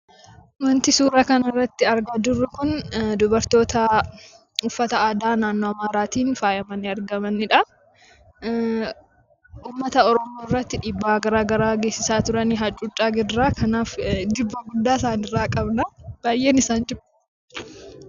Wanti suura kanarratti argaa jiru kun dubartoota uffata aadaa naannoo Amaaraatiin faayamanii argamanidha. Uummata Oromoo irratti dhiibba gara garaa taasisaa turani hacuuccaa gara garaas. Kanaaf jibba guddaa isaanirraa qabna. Baay'een isaan jibba.